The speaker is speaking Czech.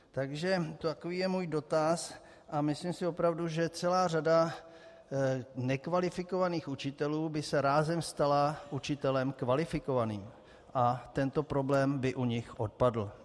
Takže takový je můj dotaz a myslím si opravdu, že celá řada nekvalifikovaných učitelů by se rázem stala učitelem kvalifikovaným A tento problém by u nich odpadl.